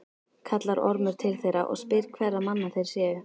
Kallar Ormur til þeirra og spyr hverra manna þeir séu.